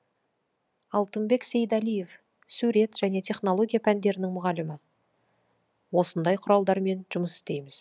алтынбек сейдалиев сурет және технология пәндерінің мұғалімі осындай құралдармен жұмыс істейміз